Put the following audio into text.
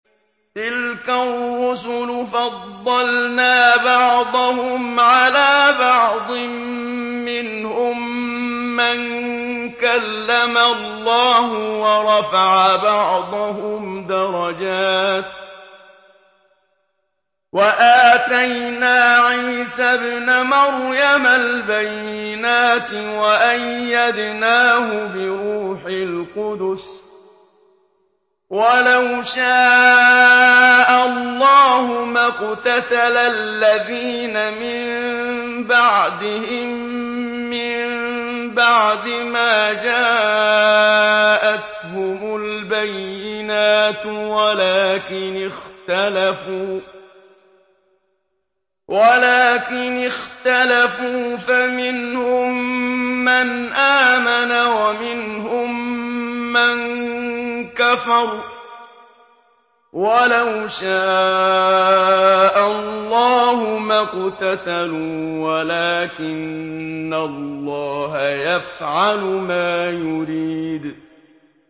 ۞ تِلْكَ الرُّسُلُ فَضَّلْنَا بَعْضَهُمْ عَلَىٰ بَعْضٍ ۘ مِّنْهُم مَّن كَلَّمَ اللَّهُ ۖ وَرَفَعَ بَعْضَهُمْ دَرَجَاتٍ ۚ وَآتَيْنَا عِيسَى ابْنَ مَرْيَمَ الْبَيِّنَاتِ وَأَيَّدْنَاهُ بِرُوحِ الْقُدُسِ ۗ وَلَوْ شَاءَ اللَّهُ مَا اقْتَتَلَ الَّذِينَ مِن بَعْدِهِم مِّن بَعْدِ مَا جَاءَتْهُمُ الْبَيِّنَاتُ وَلَٰكِنِ اخْتَلَفُوا فَمِنْهُم مَّنْ آمَنَ وَمِنْهُم مَّن كَفَرَ ۚ وَلَوْ شَاءَ اللَّهُ مَا اقْتَتَلُوا وَلَٰكِنَّ اللَّهَ يَفْعَلُ مَا يُرِيدُ